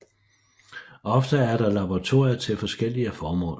Ofte er der laboratorier til forskellige formål